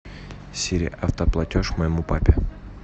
сири автоплатеж моему папе